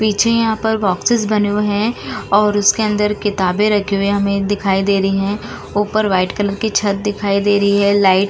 पीछे यहां पर बॉक्सेस बने हुए हैं और उसके अंदर किताबें रखे हुए हमें दिखाई दे रही है ऊपर व्हाइट कलर की छत दिखाई दे रहे हैं। लाइट --